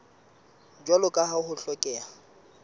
jwalo ka ha ho hlokeha